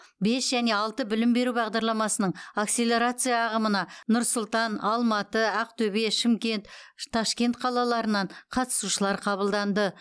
бес және алты білім беру бағдарламасының акселерация ағымына нұр сұлтан алматы ақтөбе шымкент ташкент қалаларынан қатысушылар қабылданды